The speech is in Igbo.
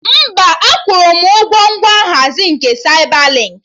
Mba, akwụrụ m ụgwọ ngwa nhazi nke Saibalinkị